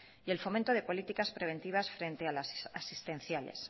y el fomento de políticas preventivas frente a las asistenciales